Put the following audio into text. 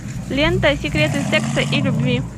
лента секреты секса и любви